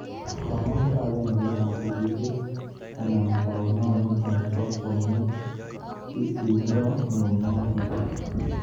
Komwa kibang'eng'et ab polisiek an taoninot bo kwangeet itondo neunoton